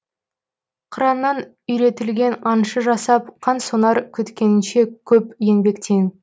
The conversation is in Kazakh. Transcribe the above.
қыраннан үйретілген аңшы жасап қансонар күткеніңше көп еңбектен